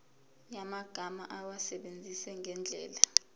yamagama awasebenzise ngendlela